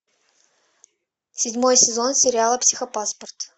седьмой сезон сериала психопаспорт